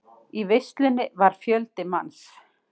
Í veislunni var fjöldi manns.